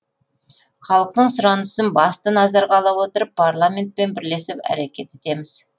халықтың сұранысын басты назарға ала отырып парламентпен бірлесіп әрекет етеміз